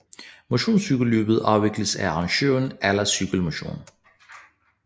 Motionscykelløbet afvikles af arrangøren Aller Cykel Motion